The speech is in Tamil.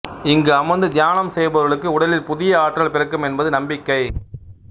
இங்கு அமர்ந்து தியானம் செய்பவர்களுக்கு உடலில் புதிய ஆற்றல் பிறக்கும் என்பது நம்பிக்கை